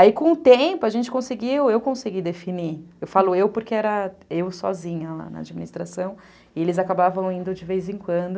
Aí com o tempo a gente conseguiu, eu consegui definir, eu falo eu porque era eu sozinha lá na administração, e eles acabavam indo de vez em quando,